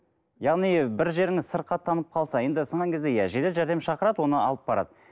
яғни бір жеріңіз сырқаттанып қалса енді сынған кезде иә жедел жәрдем шақырады оны алып барады